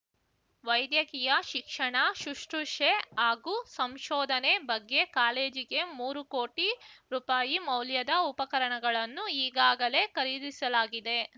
ವೈದ್ಯಕೀಯ ಶಿಕ್ಷಣ ಶುಶ್ರೂಷೆ ಹಾಗೂ ಸಂಶೋಧನೆ ಬಗ್ಗೆ ಕಾಲೇಜಿಗೆ ಮೂರು ಕೋಟಿ ರೂಪಾಯಿ ಮೌಲ್ಯದ ಉಪಕರಣಗಳನ್ನು ಈಗಾಗಲೇ ಖರೀದಿಸಲಾಗಿದೆ